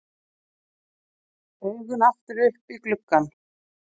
Augun aftur upp í gluggann.